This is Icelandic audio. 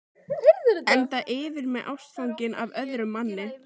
Enda yfir mig ástfangin af öðrum manni.